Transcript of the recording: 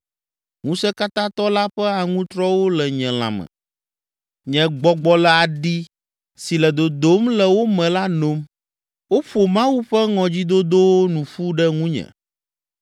Ŋusẽkatãtɔ la ƒe aŋutrɔwo le nye lãme, nye gbɔgbɔ le aɖi si le dodom le wo me la nom. Woƒo Mawu ƒe ŋɔdzidodowo nu ƒu ɖe ŋunye.